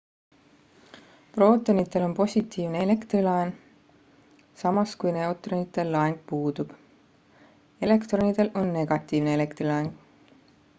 prootonitel on positiivne elektrilaeng samas kui neutronitel laeng puudub elektronidel on negatiivne elektrilaeng